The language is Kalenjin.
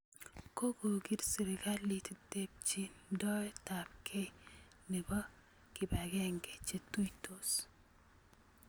Kokokiil serikalit tebchindoetabkeey nebo kibakeenke che tuitos